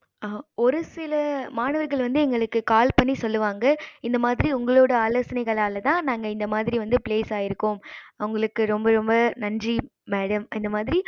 ஒரு சில மாணவர்கள் வந்து எங்களுக்கு call பண்ணி சொல்லுவாங்க இந்த மாறி உங்களோட ஆலோசனைகளால தான் நாங்க இந்த மாறி place ஆகிருக்கோம் உங்களுக்கு ரொம்ப ரொம்ப நன்றி madam இந்த மாறி